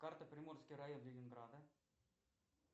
карта приморский район ленинграда